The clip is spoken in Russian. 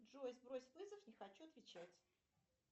джой сбрось вызов не хочу отвечать